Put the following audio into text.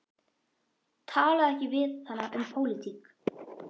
Talaðu ekki við hana um pólitík.